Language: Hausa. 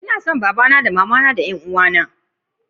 Na kaunace una, uwa da dan uwaye na.